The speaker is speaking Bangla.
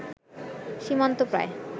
সীমান্ত প্রায়